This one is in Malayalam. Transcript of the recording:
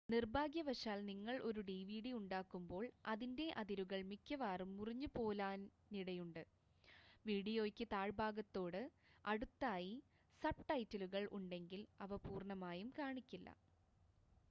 നിർഭാഗ്യവശാൽ നിങ്ങൾ ഒരു ഡിവിഡി ഉണ്ടാക്കുമ്പോൾ അതിൻ്റെ അതിരുകൾ മിക്കവാറും മുറിഞ്ഞുപോലാനിടയുണ്ട് വീഡിയോയ്ക്ക് താഴ്‌ഭാഗത്തോട് അടുത്തായി സബ്ടൈറ്റിലുകൾ ഉണ്ടെങ്കിൽ അവ പൂർണ്ണമായി കാണിക്കില്ല